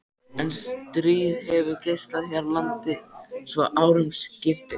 En stríð hefur geisað hér í landi svo árum skiptir.